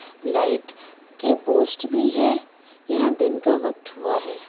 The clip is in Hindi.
लाइट के पोस्ट भी है। यहा दिन का वक्त हुआ हैं।